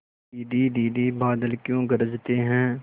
दीदी दीदी बादल क्यों गरजते हैं